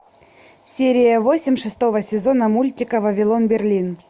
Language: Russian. серия восемь шестого сезона мультика вавилон берлин